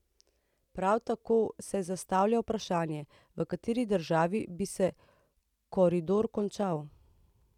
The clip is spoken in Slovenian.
Prav tako se zastavlja vprašanje, v kateri državi bi se koridor končal.